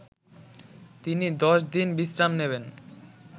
তিনি দশ দিন বিশ্রাম নেবেন